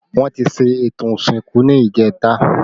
Wọn ti ṣe ètò ìsìnkú ni ìjẹta